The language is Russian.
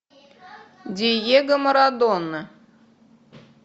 диего марадона